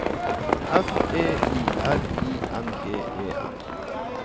F E I R I N G E N